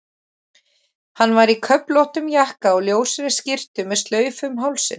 Hann var í köflóttum jakka og ljósri skyrtu með slaufu um hálsinn.